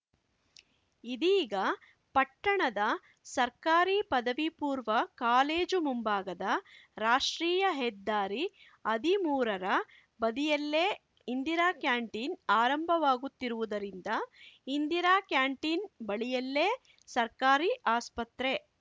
ಇದೀಗ ಪಟ್ಟಣದ ಸರ್ಕಾರಿ ಪದವಿ ಪೂರ್ವ ಕಾಲೇಜು ಮುಂಭಾಗದ ರಾಷ್ಟ್ರೀಯ ಹೆದ್ದಾರಿ ಹದಿಮೂರರ ಬದಿಯಲ್ಲೇ ಇಂದಿರಾ ಕ್ಯಾಂಟೀನ್‌ ಆರಂಭವಾಗುತ್ತಿರುವುದರಿಂದ ಇಂದಿರಾ ಕ್ಯಾಂಟೀನ್‌ ಬಳಿಯಲ್ಲೇ ಸರ್ಕಾರಿ ಆಸ್ಪತ್ರೆ